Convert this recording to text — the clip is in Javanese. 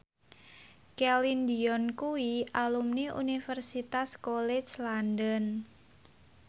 Celine Dion kuwi alumni Universitas College London